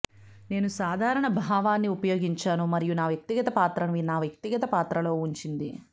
నేను సాధారణ భావాన్ని ఉపయోగించాను మరియు నా వ్యక్తిగత పాత్రను నా వ్యక్తిగత పాత్రలో ఉంచింది